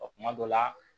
Ɔ kuma dɔ la